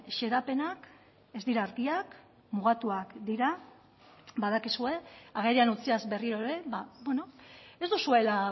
xedapenak ez dira argiak mugatuak dira badakizue agerian utziaz berriro ere ez duzuela